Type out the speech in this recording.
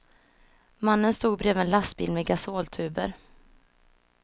Mannen stod bredvid en lastbil med gasoltuber.